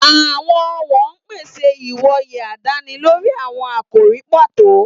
Àwọn ọ̀wọ̀n ń pèsè ìwòye àdáni lórí àwọn àkòrí pàtó.